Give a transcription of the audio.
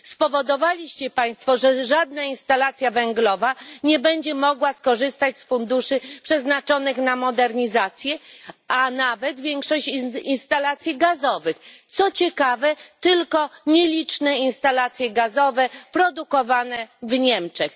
Spowodowali Państwo, że żadna instalacja węglowa nie będzie mogła skorzystać z funduszy przeznaczonych na modernizację, a nawet większość instalacji gazowych i, co ciekawe, tylko nieliczne instalacje gazowe produkowane w Niemczech.